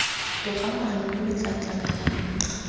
togamaano lo lo tla tlamelang